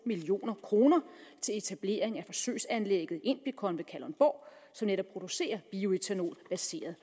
million kroner til etablering af forsøgsanlægget inbicon ved kalundborg som netop producerer bioætanol baseret